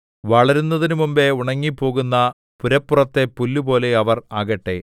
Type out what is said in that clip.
വളരുന്നതിനുമുമ്പ് ഉണങ്ങിപ്പോകുന്ന പുരപ്പുറത്തെ പുല്ലുപോലെ അവർ ആകട്ടെ